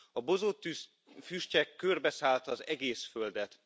A bozóttűz füstje körbeszállta az egész Földet.